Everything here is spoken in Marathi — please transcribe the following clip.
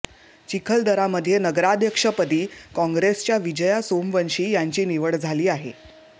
चिखलदरामध्ये नगराध्यक्षपदी काँगेसच्या विजया सोमवंशी यांची निवड झाली आहे